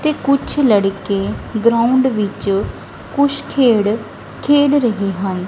ਤੇ ਕੁਛ ਲੜਕੇ ਗਰਾਉਂਡ ਵਿੱਚ ਕੁਝ ਖੇਡ ਖੇਡ ਰਹੇ ਹਨ।